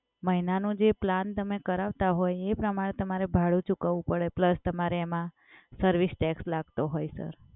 મહિનાનું જે પ્લાન તમે કરાવતા હોય એ પ્રમાણે તમને ભાડું ચૂકવવું પડે પ્લસ તમારે એમાં સર્વિસ ટેક્સ લાગતો હોય સર.